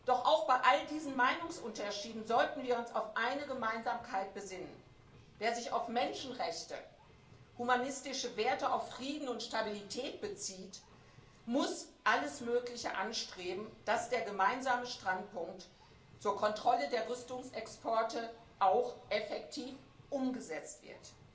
werden. Doch auch bei all diesen Meinungsunterschieden sollten wir uns auf eine Gemeinsamkeit besinnen Wer sich auf Menschenrechte, humanistische Werte, auf Frieden und Stabilität bezieht, muss alles Mögliche anstreben, damit der gemeinsame Standpunkt zur Kontrolle der Rüstungsexporte auch effektiv umgesetzt